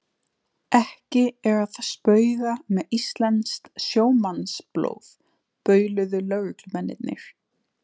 Ekki er að spauga með íslenskt sjómannsblóð bauluðu lögreglumennirnir.